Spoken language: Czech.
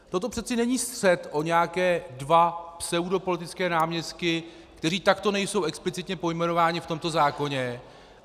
Toto přece není střet o nějaké dva pseudopolitické náměstky, kteří takto nejsou explicitně pojmenováni v tomto zákoně.